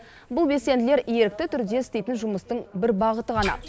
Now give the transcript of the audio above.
бұл белсенділер ерікті түрде істейтін жұмыстың бір бағыты ғана